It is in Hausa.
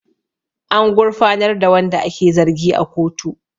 An gurfanar da wanda ake zargi a kotu